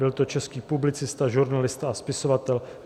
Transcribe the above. Byl to český publicista, žurnalista a spisovatel.